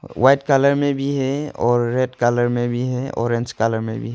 White colour में भी है और रेड कलर में भी है ऑरेंज कलर में भी है।